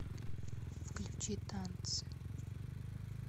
включи танцы